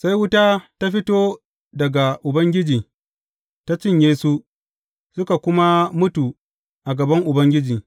Sai wuta ta fito daga Ubangiji ta cinye su, suka kuma mutu a gaban Ubangiji.